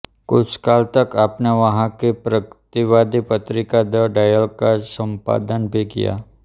कुछ काल तक आपने वहाँ की प्रगतिवादी पत्रिका द डायल का संपादन भी किया